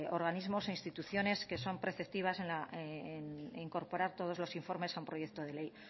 organismos e instituciones que son preceptivas en incorporar todos los informes a un proyecto de ley